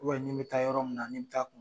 ni n be taa yɔrɔ min na ni n t'a kun